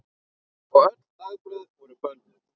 Öll dagblöð voru bönnuð.